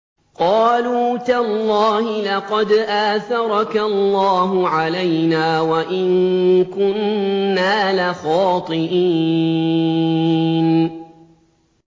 قَالُوا تَاللَّهِ لَقَدْ آثَرَكَ اللَّهُ عَلَيْنَا وَإِن كُنَّا لَخَاطِئِينَ